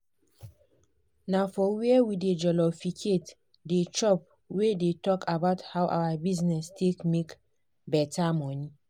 na for were we dey jolificate dey chop we dey talk about how our bizness take make better money.